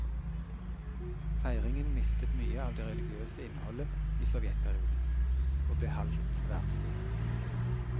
Feiringen mistet mye av det religiøse innholdet i sovjetperioden, og ble halvt verdslig.